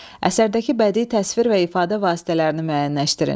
Əsərdəki bədii təsvir və ifadə vasitələrini müəyyənləşdirin.